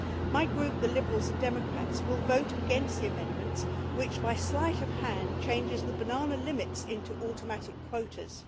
My group, the Liberals and Democrats, will vote against the amendments which, by sleight of hand, change the banana limits into automatic quotas.